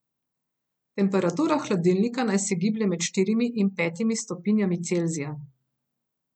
Temperatura hladilnika naj se giblje med štirimi in petimi stopinjami Celzija.